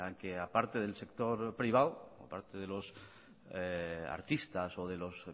que aparte del sector privado a parte de los artistas o de los